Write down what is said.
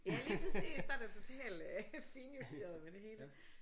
Ja lige præcis så er der total finjusteret ved det hele